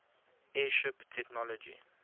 airship technology